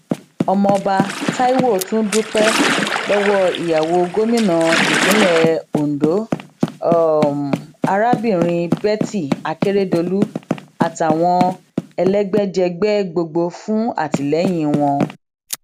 ọmọọba taiwo tún dúpẹ lọwọ ìyàwó gómìnà ìpínlẹ ondo arábìnrin betty akeredolu àtàwọn elégbèjègbè gbogbo fún àtìlẹyìn wọn